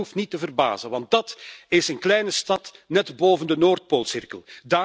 En dat hoeft niet te verbazen, want dat is een kleine stad net boven de noordpoolcirkel.